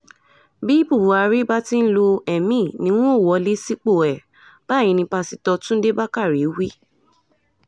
bí buhari bá ti ń lo èmi ni n óò wọlé sípò ẹ̀ báyìí ní pásítọ̀ túnde bákàrẹ̀ wí